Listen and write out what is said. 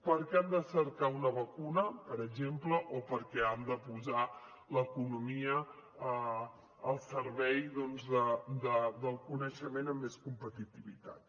perquè han de cercar una vacuna per exemple o perquè han de posar l’economia al servei doncs del coneixement amb més competitivitat